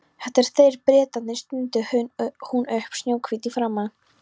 Þetta eru þeir, Bretarnir stundi hún upp, snjóhvít í framan.